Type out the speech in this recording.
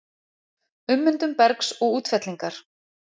Ummyndun bergs og útfellingar